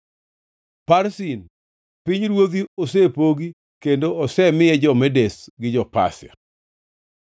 “ Parsin: Pinyruodhi osepogi kendo osemiye jo-Medes gi jo-Pasia.”